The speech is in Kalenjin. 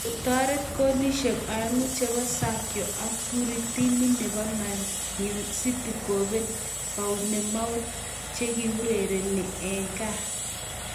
Kotoret kolisiek oeng'u chebo Sergio Aguero timinyi nebo Man city kobel Bournemouth che kourerenee gaa .